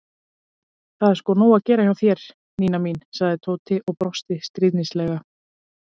Það er sko nóg að gera hjá þér, Nína mín sagði Tóti og brosti stríðnislega.